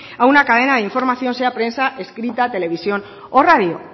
a una cadena de información sea prensa escrita televisión o radio